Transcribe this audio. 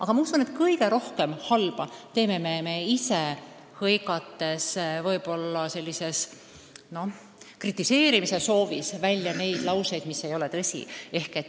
Aga ma usun, et kõige rohkem halba me teeme ise, hõigates suures kritiseerimise soovis välja midagi, mis ei ole tõsi.